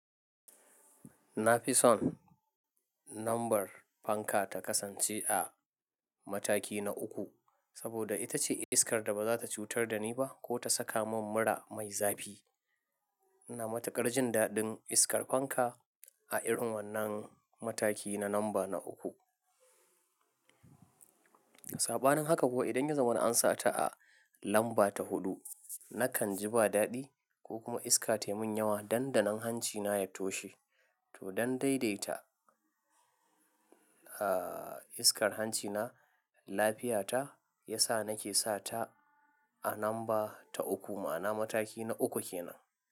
Na fi son lambar fanka ta kasance a mataki na uku, saboda ita ce iskar da ba za ta cutar da ni ba ko ta saka mun mura mai zafi. Na matuƙar jin daɗin iskar fanka a irin wannan mataki na lamba na uku. Saɓanin haka kuwa, idan ya zama an sa ta a lamba ta huɗu, nakan ji ba daɗi ko kuma iska tayi mun yawa, dandanan hanci na ya toshe. To don daidaita, ah, iskar hanci na, lafiya ta, ya sa nake sa ta a lamba ta uku ma'ana mataki na uku ke nan.